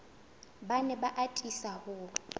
ba ne ba atisa ho